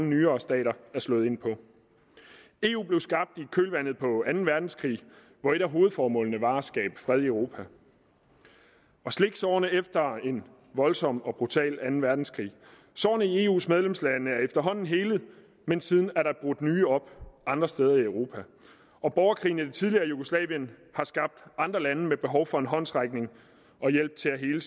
nyere stater er slået ind på eu blev skabt i kølvandet på anden verdenskrig hvor et af hovedformålene var at skabe fred europa og slikke sårene efter en voldsom og brutal anden verdenskrig sårene i eus medlemslande er efterhånden helet men siden er der brudt nye op andre steder i europa og borgerkrigen i det tidligere jugoslavien har skabt andre lande med behov for en håndsrækning og hjælp til at hele